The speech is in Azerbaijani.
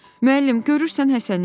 Müəllim, görürsən Həsəni?